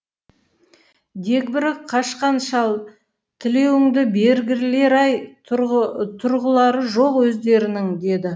дегбірі қашқан шал тілеуіңді бергірлер ай тұрғылары жоқ өздерінің деді